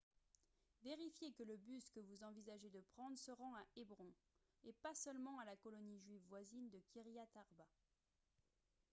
vérifiez que le bus que vous envisagez de prendre se rend à hébron et pas seulement à la colonie juive voisine de kyriat arba